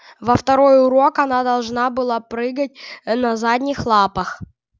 во второй урок она должна была прыгать на задних лапах